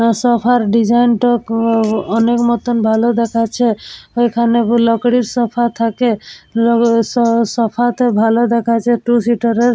Sofa -র design -টা অনেকমতো ভালো দেখাচ্ছে । এইখানে বুলাকড়ি সোফা থাকে সোফা -তে ভালো দেখাচ্ছে টু সিটারের ।